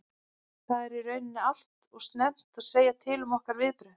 Það er í raun allt og snemmt að segja til um okkar viðbrögð.